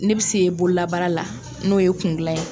Ne bɛ se bololabaara n'o ye kun dilan ye